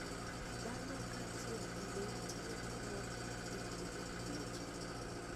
Dhano kaachiel gi le tiyo gi mor kich e thiedho tuoche.